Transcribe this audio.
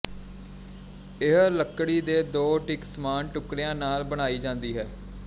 ਇਹ ਲੱਕੜੀ ਦੇ ਦੋ ਇੱਕ ਸਮਾਨ ਟੁਕੜਿਆਂ ਨਾਲ ਬਣਾਈ ਜਾਂਦੀ ਹੈ